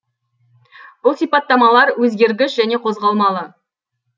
бұл сипаттамалар өзгергіш және қозғалмалы